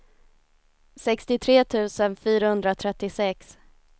sextiotre tusen fyrahundratrettiosex